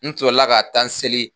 N sɔrɔla ka t'an seli.